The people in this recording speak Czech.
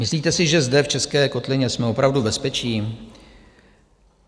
Myslíte si, že zde v české kotlině jsme opravdu bezpečí?